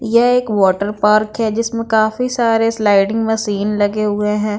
यह एक water park है जिसमें काफी सारे स्लाइडिंग मशीन लगे हुए हैं।